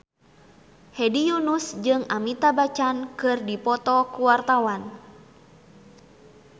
Hedi Yunus jeung Amitabh Bachchan keur dipoto ku wartawan